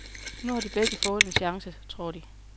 Nu har de begge fået en chance, tror de.